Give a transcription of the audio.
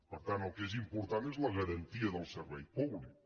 per tant el que és important és la garantia del servei públic